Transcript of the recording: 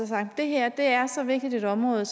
sagt det her er så vigtigt et område at